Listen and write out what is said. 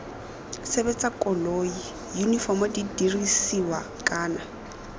sebetsa koloi yunifomo didirisiwa kana